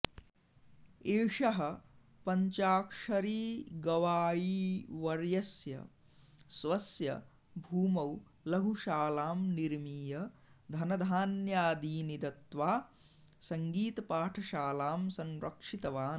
एषः पञ्चाक्षरीगवायीवर्यस्य स्वस्य भूमौ लघुशालां निर्मीय धनधान्यादीनि दत्त्वा सङ्गीतपाठशालां संरक्षितवान्